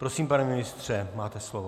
Prosím, pane ministře, máte slovo.